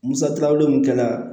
Musaka ko min kɛ la